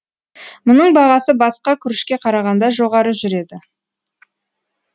мұның бағасы басқа күрішке қарағанда жоғары жүреді